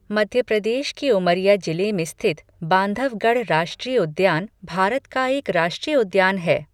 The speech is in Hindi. मध्य प्रदेश के उमरिया जिले में स्थित बांधवगढ़ राष्ट्रीय उद्यान भारत का एक राष्ट्रीय उद्यान है।